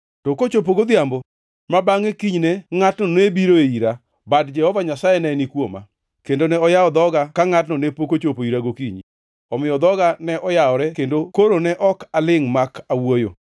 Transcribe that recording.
To kochopo godhiambo ma bangʼe kinyne ngʼatno ne biroe ira, bad Jehova Nyasaye ne ni kuoma, kendo ne oyawo dhoga ka ngʼatno ne pok ochopo ira gokinyi. Omiyo dhoga ne oyawore kendo koro ne ok alingʼ mak awuoyo.